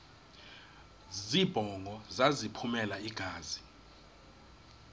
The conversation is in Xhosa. zibongo zazlphllmela engazi